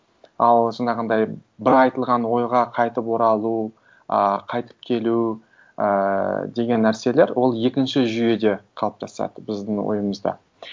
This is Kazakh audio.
ал жаңағындай бір айтылған ойға қайтып оралу ы қайтып келу ііі деген нәрселер ол екінші жүйеде қалыптасады біздің ойымызда